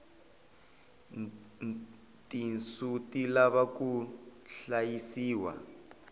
tinsu ti lava ku hlayisiwa